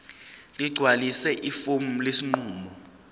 ligcwalise ifomu lesinqumo